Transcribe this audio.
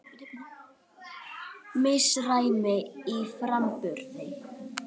Misræmi í framburði